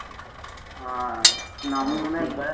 আহ না। আমি মনে আছে